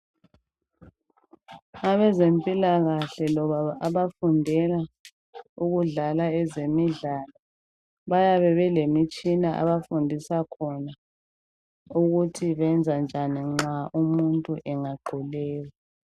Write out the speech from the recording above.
Abezempilakahle loba abafundela ukudlala ezemidlalo bayabe belemitshina abafundisa khona ukuthi benze njani nxa umuntu engaquleka.